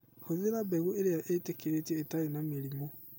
Hũthĩra mbegũ ĩrĩa ĩtĩkĩrĩtio itarĩ na mĩrimũ